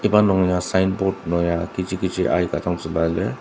iba nungya signboard nungya kechi kechi aika dang zülua lir.